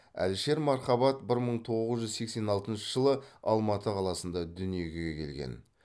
әлішер мархабат бір мың тоғыз жүз сексен алтыншы жылы алматы қаласында дүниеге келген